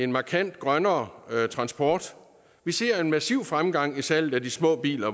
markant grønnere transport vi ser en massiv fremgang i salget af de små biler